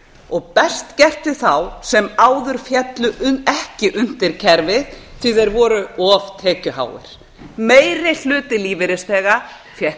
og best gert við þá sem áður féllu ekki undir kerfið því að þeir voru of tekjuháir meiri hluti lífeyrisþega fékk